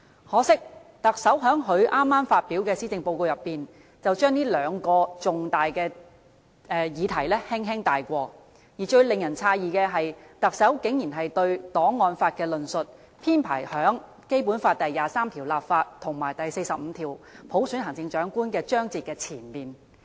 可惜，特首在剛發表的施政報告中，只是把這兩個重大議題輕輕帶過，而最令人詫異的是，特首竟然對檔案法的論述，編排於《基本法》第二十三條立法和第四十五條落實普選行政長官的章節之前。